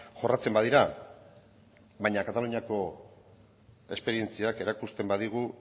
jorratzen badira baina kataluniako esperientziak erakusten badigu